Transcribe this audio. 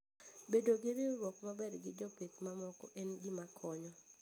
Bedo gi winjruok maber gi jopith mamoko en gima konyo.